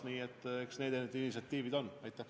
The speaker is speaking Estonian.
Nii et eks sellised need initsiatiivid ole.